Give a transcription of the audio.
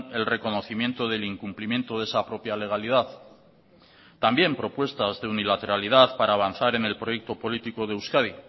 el reconocimiento del incumplimiento de esa propia legalidad también propuestas de unilateralidad para avanzar en el proyecto político de euskadi